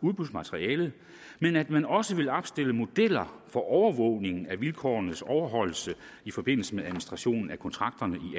udbudsmaterialet men at man også vil opstille modeller for overvågning af vilkårenes overholdelse i forbindelse med administrationen af kontrakterne i